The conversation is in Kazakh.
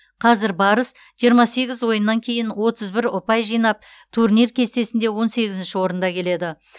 қазір барыс жиырма сегіз ойыннан кейін отыз бір ұпай жинап турнир кестесінде он сегізінші орында келеді